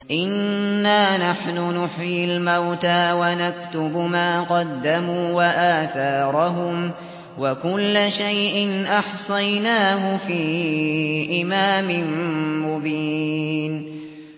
إِنَّا نَحْنُ نُحْيِي الْمَوْتَىٰ وَنَكْتُبُ مَا قَدَّمُوا وَآثَارَهُمْ ۚ وَكُلَّ شَيْءٍ أَحْصَيْنَاهُ فِي إِمَامٍ مُّبِينٍ